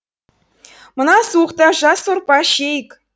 мына суықта жас сорпа ішейік